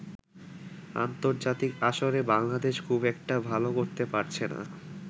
আন্তর্জাতিক আসরে বাংলাদেশ খুব একটা ভালো করতে পারছেনা।